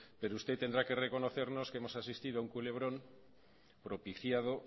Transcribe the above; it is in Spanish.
pero usted tendrá que reconocernos que hemos asistido a un culebrón propiciado